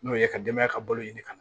N'o ye ka denbaya ka balo ɲini ka